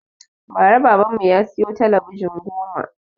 Ba ra baban mu ya siyo talabijin goma